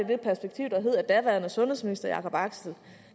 det perspektiv at daværende sundhedsminister jacob axel